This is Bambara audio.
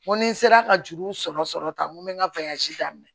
N ko ni n sera ka juru sɔrɔ sɔrɔ tan n ko me n ka daminɛ